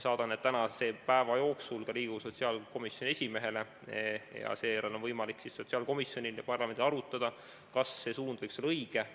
Saadan need tänase päeva jooksul ka Riigikogu sotsiaalkomisjoni esimehele ja seejärel on võimalik sotsiaalkomisjonil ja parlamendil arutada, kas see suund võiks olla õige.